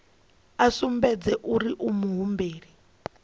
a sumbedze uri u muhumbeli